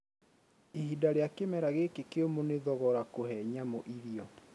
Ihinda ria kimera gikĩ kiumũ nĩ thogora kũhe nyamu irĩo